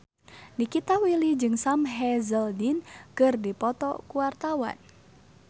Nikita Willy jeung Sam Hazeldine keur dipoto ku wartawan